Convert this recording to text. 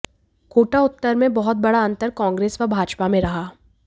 कोटा उत्तर में बहुत बड़ा अंतर कांग्रेस व भाजपा में रहा